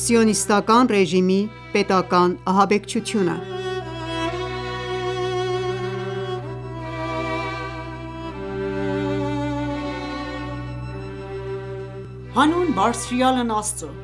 Սիոնիստական ռեժիմի պետական ահաբեկչությունը Հանուն բարձրյալն Աստծուն,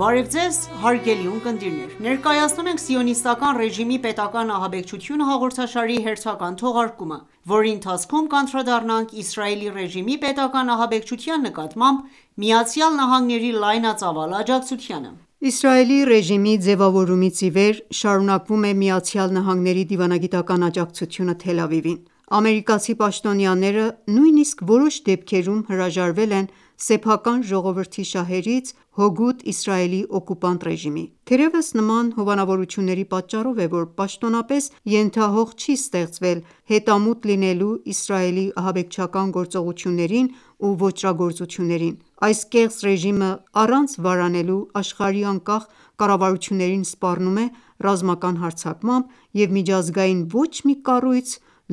բարև ձեզ հարգելի ունկնդիրներ: Ներկայացնում ենք «Սիոնիստական ռեժիմի պետական ահաբեկչությունը» հաղորդաշարի հերթական թողարկումը, որի ընթացքում կանդադառնանք՝ Իսրայելի ռեժիմի պետական ահաբեկչության նկատմամբ, ԱՄՆ-ի լայնածավալ աջակցությանը: Իսրայելի ռեժիմի ձևավորումից ի վեր, շարունակվում է ԱՄՆ-ի դիվանագիտական աջակցությունը Թել Ավիվին: Ամերիկացի պաշտոնյաները, նույնիսկ որոշ դեպքերում, հրաժարվել են՝ սեփական ժողովրդի շահերից՝ հօգուտ Իսրայելի օկուպանտ ռեժիմի։ Թերևս նման հովանավորությունների պատճառով է,որ պաշտոնապես ենթահող չի ստեղծվել հետամուտ լինելու Իսրայելի ահաբեկչական գործողություններին ու ոճրագործություններին: Այս կեղծ ռեժիմը, առանց վարանելու աշխարհի անկախ կառավարություններին սպառնում է ռազմական հարձակմամբ՝և միջազգային ոչ մի կառույց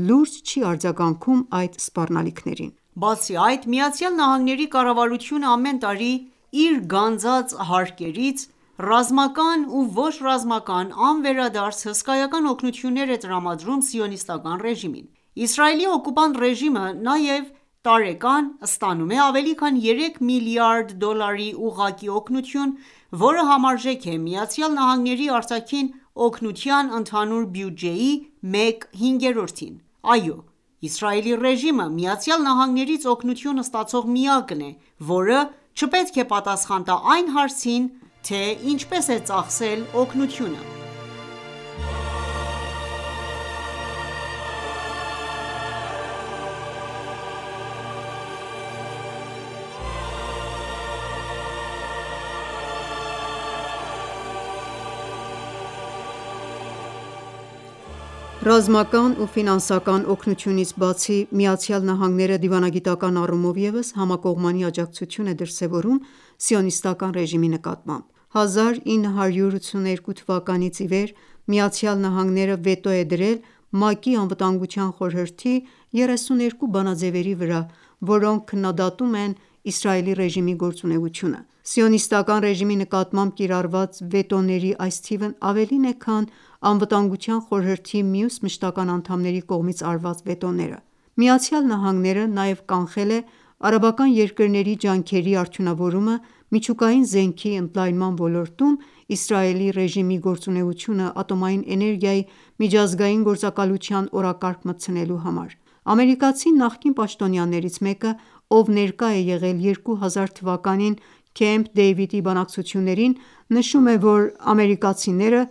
լուրջ չի արձագանքում այդ սպառնալիքներին։ Բացի այդ, ԱՄՆ-ի կառավարությունը ամեն տարի իր գանձած հարկերից, ռազմական ու ոչ ռազմական անվերադարձ հսկայական օգնություններ է տրամադրում սիոնիստական ռեժիմին: Իսրայելի օկուպանտ ռեժիմը նաև, տարեկան ստանում է ավելի քան երեք միլիարդ դոլարի ուղղակի օգնություն, որը համարժեք է ԱՄՆ-ի արտաքին օգնության ընդհանուր բյուջեի մեկ հինգերորդին: Այո, Իսրայելի ռեժիմը ԱՄՆ-ից օգնություն ստացող միակն է, որը չպետք է պատասխան տա այն հարցին, թե ՝ի՞նչպես է ծախսել օգնությունը։ Ռազմական ու Ֆինանսական օգնությունից բացի ,ԱՄՆ-ը դիվանագիտական առումով ևս համակողմանի աջակցություն է դրսևորում սիոնիստական ռեժիմի նկատմամբ: 1982 թվականից ի վեր Միացյալ Նահանգները վետո է դրել ՄԱԿ-ի Անվտանգության խորհրդի 32 բանաձևերի վրա, որոնք քննադատում են Իսրայելի ռեժիմի գործունեությունը: Սիոնիստական ռեժիմի նկատմամբ կիրառված վետոների այս թիվն ավելին է, քան՝ Անվտանգության խորհրդի մյուս մշտական անդամների կողմից արված վետոները։ ԱՄՆ-ն նաև կանխել է արաբական երկրների ջանքերի արդյունավորումը՝ միջուկային զենքի ընդլայնման ոլորտում, Իսրայելի ռեժիմի գործունեությունը Ատոմային էներգիայի միջազգային գործակալության օրակարգ մտցնելու համար: Ամերիկացի նախկին պաշտոնյաներից մեկը, ով ներկա է եղել 2000 թվականին Քեմփ Դեյվիդի բանակցություններին, նշում է, որ ամերիկացիները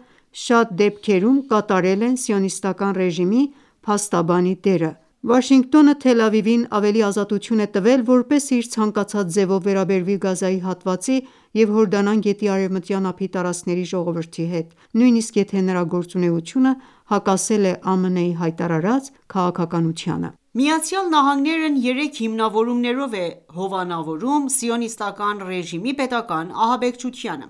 շատ դեպքերում կատարել են սիոնիստական ռեժիմի փաստաբանի դերը։ Վաշինգտոնը, Թել Ավիվին ավելի ազատություն է տվել ,որպեսզի իր ցանկացած ձևով վերաբերվի Գազայի հատվածի և Հորդանան գետի արևմտյան ափի տարածքների ժողովրդի հետ ,նույնիսկ եթե նրա գործունեությունը հակասել է ԱՄՆ-ի հայտարարած քաղաքականությանը: ԱՄՆ-ն երեք հիմնավորումներով է հովանավորում սիոնիստական ռեժիմի պետական ահաբեկչությունը: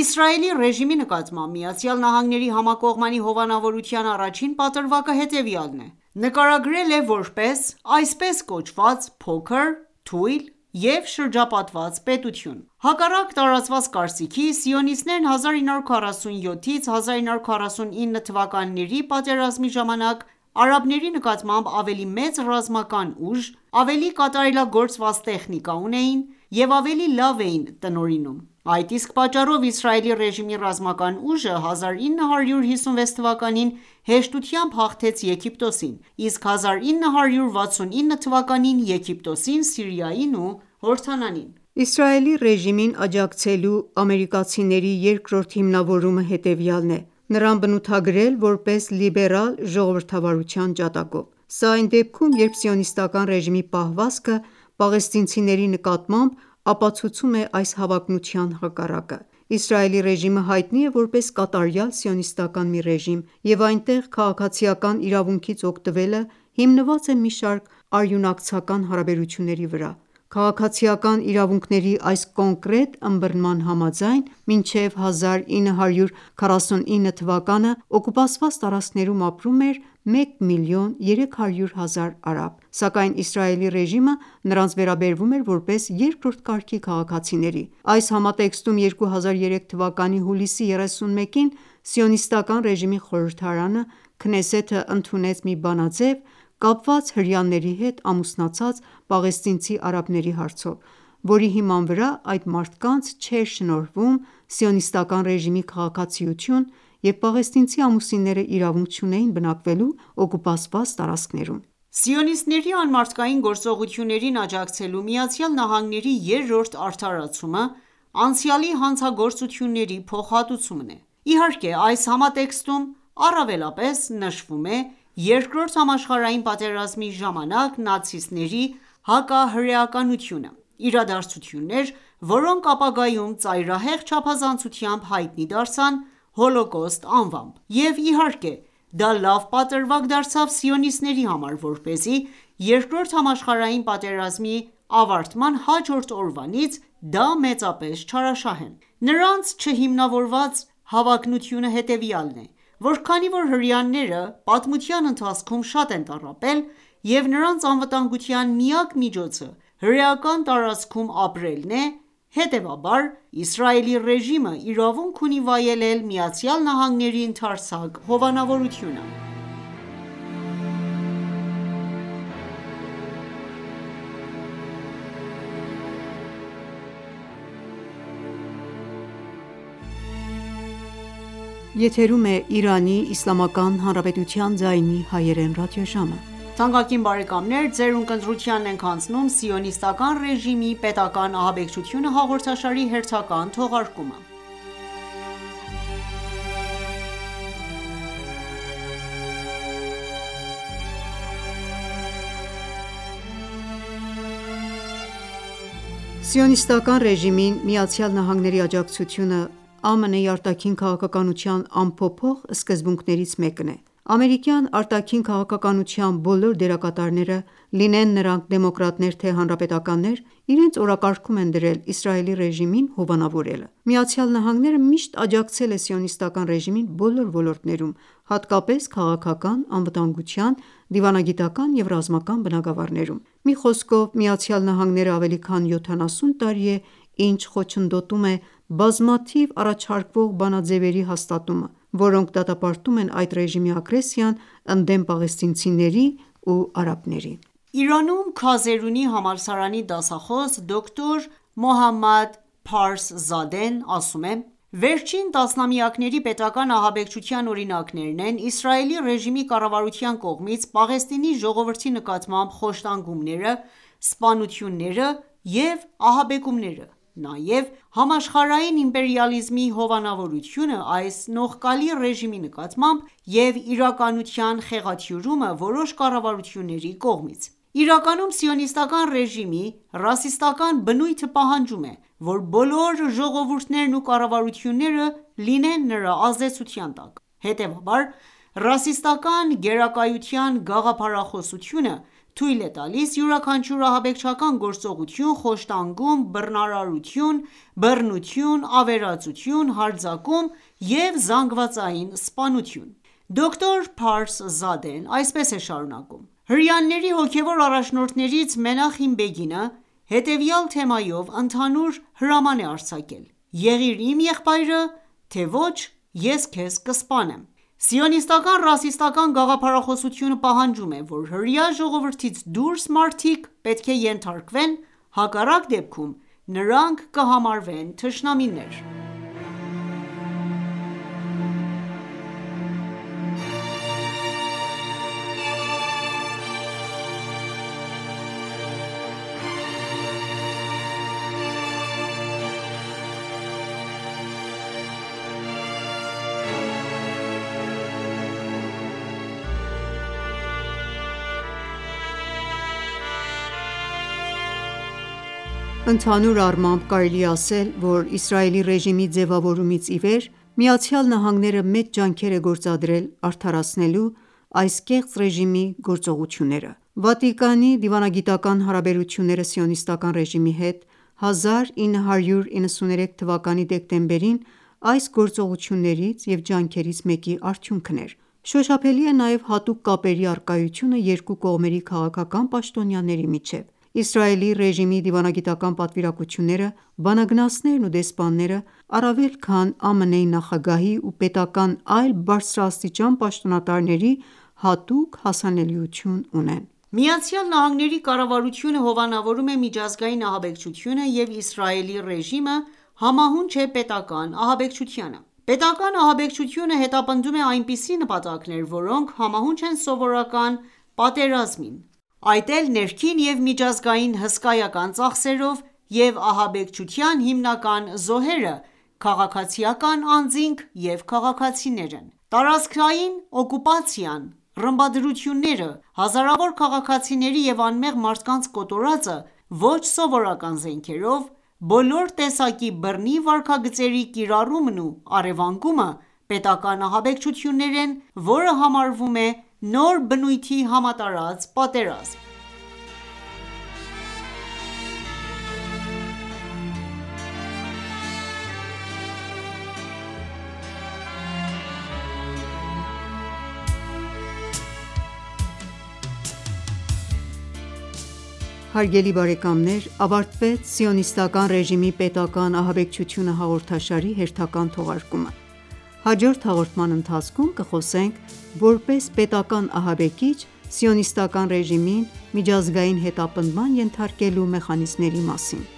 Իսրայելի ռեժիմի նկատմամբ ԱՄՆ-ի համակողմանի հովանավորության առաջին պատրվակը հետևյալն է ,որ դրան նկարագրել է,որպես այսպես կոչված փոքր, թույլ և շրջապատված պետություն: Հակառակ տարածված կարծիքի, սիոնիստներն 1947-1949 թվականների պատերազմի ժամանակ արաբների նկատմամբ ավելի մեծ ռազմական ուժ, ավելի կատարելագործված տեխնիկա ունեին և ավելի լավ էին տնօրինում: Այդ իսկ պատճառով Իսրայելի ռեժիմի ռազմական ուժը ,1956 թվականին հեշտությամբ հաղթեց Եգիպտոսին, իսկ 1969 թվականին՝ Եգիպտոսին, Սիրիային ու Հորդանանին։ Իսրայելի ռեժիմին աջակցելու ամերիկազիների երկրորդ հիմնավորումը հետևյալն է՝նրան բնութագրել ,որպես լիբերալ ժողովրդավարության ջատագով ։Սա այն դեպքում, երբ սիոնիստական ռեժիմի պահվածքը պաղեստինցիների նկատմամբ ապացուցում է այս հավակնության հակառակը: Իսրայելի ռեժիմը հայտնի է, որպես կատարյալ սիոնիստական մի ռեժիմ, և այնտեղ քաղաքացիական իրավունքից օգտվելը հիմնված է մի շարք արյունակցական հարաբերությունների վրա։ Քաղաքացիական իրավունքների այս կոնկրետ ըմբռնման համաձայն՝ մինչև 1949 թվականը, օկուպացված տարածքներում ապրում էր մեկ միլիոն 300,000 արաբ, սակայն Իսրայելի ռեժիմը նրանց վերաբերվում էր, որպես երկրորդ կարգի քաղաքացիների: Այս համատեքստում 2003 թվականի հուլիսի 31-ին, սիոնիստական ռեժիմի խորհրդարանը ընդունեց մի բանաձև՝ կապված հրեաների հետ ամուսնացած պաղեստինցի արաբների հարցով, որի հիման վրա այդ մարդկանց չէր շնորհվում սիոնիստական ռեժիմի քաղաքացիություն և պաղեստինցի ամուսինները իրավունք չունեին բնակվելու օկուպացված տարածքներում: Սիոնիստների անմարդկային գործողություններին աջակցելու ԱՄՆ-ի երրորդ արդարացումը անցյալի հանցագործությունների փոխհատուցումն է։Իհարկե, այս համատեքստում առավելապես նշվում է Երկրորդ համաշխարհային պատերազմի ժամանակ նացիստների հակահրեականությունը: Իրադարձություններ, որոնք ապագայում ծայրահեղ չափազանցությամբ հայտնի դարձան Հոլոկոստ անվամբ, և, իհարկե, դա լավ պատրվակ դարձավ սիոնիստների համար ,որպեսզի երկրորդ համաշխարհային պատերազմի ավարտման հաջորդ օրվանից դա մեծապես չարաշահեն: Նրանց չհիմնավորված հավակնությունը հետևյալն է, որ քանի որ հրեաները պատմության ընթացքում շատ են տառապել, և նրանց անվտանգության միակ միջոցը հրեական տարածքում ապրելն է, հետևաբար Իսրայելի ռեժիմը իրավունք ունի վայելել ԱՄՆ-ի ընդարձակ հովանավորությունը: Սիոնիստական ռեժիմին ԱՄՆ-ի աջակցությունը, ԱՄՆ-ի արտաքին քաղաքականության անփոփոխ սկզբունքներից մեկն է: Ամերիկյան արտաքին քաղաքականության բոլոր դերակատարները՝ լինեն նրանք դեմոկրատներ, թե՝ հանրապետականներ, իրենց օրակարգում են դրել Իսրայելի ռեժիմին հովանավորելը: ԱՄՆ-ն միշտ աջակցել է սիոնիստական ռեժիմին բոլոր ոլորտներում, հատկապես՝ քաղաքական, անվտանգության, դիվանագիտական և ռազմական բնագավառներում:Մի խոսքով ԱՄՆ-ն ավելի քան 70 տարի է ինչ խոչընդոտում է բազմաթիվ առաջարկվող բանաձեւերի հաստատումը, որոնք դատապարտում են այդ ռեժիմի ագրեսիան ,ընդդեմ պաղեստինցիների ու արաբների: Իրանում ,Քազերունի համալսարանի դասախոս դոկտ. Մոհամմադ Փարսզադեն ասում է.«Վերջին տասնամյակների պետական ահաբեկչության օրինակներն են՝ Իսրայելի ռեժիմի կառավարության կողմից Պաղեստինի ժողովրդի նկատմամբ խոշտանգումները, սպանությունները և ահաբեկումները, նաև համաշխարհային իմպերիալիզմի հովանավորությունը այս նողկալի ռեժիմի նկատմամբ և իրականության խեղաթյուրումը որոշ կառավարությունների կողմից: Իրականում, սիոնիստական ռեժիմի ռասիստական բնույթը պահանջում է, որ բոլոր ժողովուրդներն ու կառավարությունները լինեն նրա ազդեցության տակ: Հետևաբար, ռասիստական գերակայության գաղափարախոսությունը թույլ է տալիս յուրաքանչյուր ահաբեկչական գործողություն, խոշտանգում, բռնաբարություն, բռնություն, ավերածություն, հարձակում և զանգվածային սպանություն»: Դոկտ.Փարսզադեն այսպես է շարունակում.«Հրեաների հոգևոր առաջնորդներից Մենախեմ Բեգինը հետևյալ թեմայով ընդհանուր հրաման է արձակել «Եղիր իմ եղբայրը, թե ոչ ես քեզ կսպանեմ»: Սիոնիստական ռասիստական գաղափարախոսությունը պահանջում է, որ հրեա ժողովրդից դուրս մարդիկ պետք է ենթարկվեն, հակառակ դեպքում նրանք կհամարվեն թշնամիներ»: Ընդհանանուր առմամբ, կարելի է ասել, որ Իսրայելի ռեժիմի ձևավորումից ի վեր ,ԱՄՆ-ը մեծ ջանքեր է գործադրել՝ արդարացնելու այս կեղծ ռեժիմի գործողությունները։ Վատիկանի դիվանագիտական հարաբերությունները սիոնիստական ռեժիմի հետ ՝1993 թվականի դեկտեմբերին այս գործողություններից և ջանքերից մեկի արդյունքն էր: Շոշափելի է նաև հատուկ կապերի առկայությունը երկու կողմերի քաղաքական պաշտոնյաների միջև։ Իսրայելի ռեժիմի դիվանագիտական պատվիրակությունները, բանագնացներն ու դեսպանները առավել քան ԱՄՆ-ի նախագահի ու պետական այլ բարձրաստիճան պաշտոնատարների հատուկ հասանելիություն ունեն: ԱՄՆ-ի կառավարությունը, հովանավորում է միջազգային ահաբեկչությունը և Իսրայելի ռեժիմը՝ համահունչ է պետական ահաբեկչությանը: Պետական ահաբեկչությունը հետապնդում է այնպիսի նպատակներ, որոնք համահունչ են սովորական պատերազմին՝ այդ էլ ներքին և միջազգային հսկայական ծախսերով, և ահաբեկչության հիմնական զոհերը քաղաքացիական անձինք և քաղաքացիներն են: Տարածքային օկուպացիան, ռմբադրությունները, հազարավոր քաղաքացիների և անմեղ մարդկանց կոտորածը ՝ոչ սովորական զենքերով, բոլոր տեսակի բռնի վարքագծերի կիրառումն ու առևանգումը՝պետական ահաբեկչություններ են, որը համարվում է նոր բնույթի համատարած պատերազմ։ Հարգելի ունկնդիրներ, ավարտվեց «Սիոնիստական ռեժիմի պետական ահաբեկչությունը» հաղորդաշարի հերթական թողարկումը։ Հաջորդ հաղորդման ընթացքում կխոսենք որպես պետական ահաբեկիչ՝ սիոնիստական ռեժիմին միջազգային հետապնդման ենթարկելու մեխանիզմների մասին: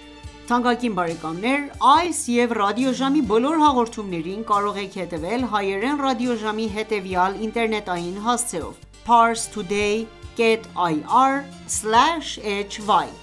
Այս և ռադիոժամի բոլոր հաղորդումներին կարող եք հետևել Հայերեն ռադիոժամի հետևյալ ինտերնետային հասցեով՝ Parstoday.ir/hy: